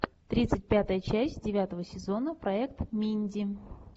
тридцать пятая часть девятого сезона проект минди